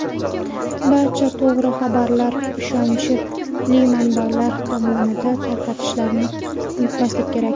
Barcha to‘g‘ri xabarlar ishonchi manbalar tomonidan tarqatilishini unutmaslik kerak.